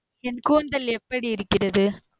என் கூந்தல் எப்படி இருக்கிறது?